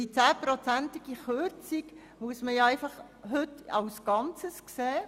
Diese 10prozentige Kürzung muss heute im Rahmen des Ganzen betrachtet werden.